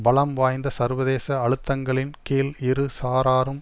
பலம் வாய்ந்த சர்வதேச அழுத்தங்களின் கீழ் இரு சாராரும்